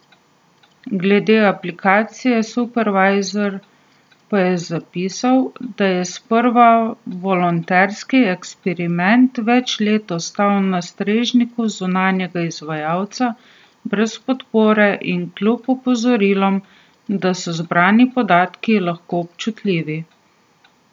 Glede aplikacije Supervizor pa je zapisal, da je sprva volonterski eksperiment več let ostal na strežniku zunanjega izvajalca, brez podpore in kljub opozorilom, da so zbrani podatki lahko občutljivi.